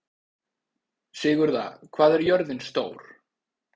Sigurða, hvað er jörðin stór?